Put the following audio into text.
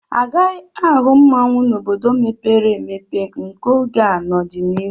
A gaghi ahụ mmanwụ n'obodo mepere emepe nke oge a n'ọdịnihu.